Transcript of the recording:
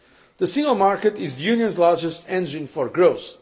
The single market is the Union's largest engine for growth.